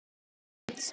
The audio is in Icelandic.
Með sama rétti lét